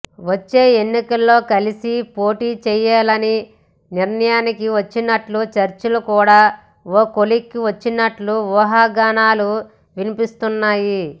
వచ్చే ఎన్నికల్లో కలిసి పోటీ చేయాలని నిర్ణయానికి వచ్చినట్లు చర్చలు కూడా ఓ కొలిక్కి వచ్చినట్లు ఊహాగానాలు వినిపిస్తున్నాయి